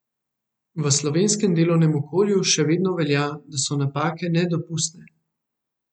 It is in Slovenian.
V slovenskem delovnem okolju še vedno velja, da so napake nedopustne.